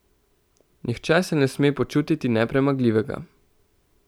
Nihče se ne sme počutiti nepremagljivega.